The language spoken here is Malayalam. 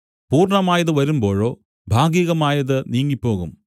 പൂർണ്ണമായത് വരുമ്പോഴോ ഭാഗികമായത് നീങ്ങിപ്പോകും